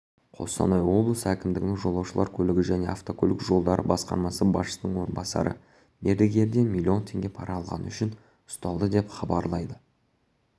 қостанай облысы әкімдігінің жолаушылар көлігі және автокөлік жолдары басқармасы басшысының орынбасары мердігерден млн теңге пара алғаны үшін ұсталды деп хабарлайды